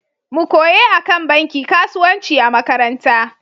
Mu koye akan banki kasuwanci a makaranta.